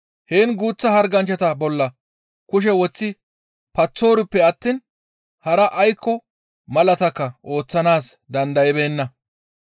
Heen guuththa harganchchata bolla kushe woththi paththoriippe attiin hara aykko malaatakka ooththanaas dandaybeenna.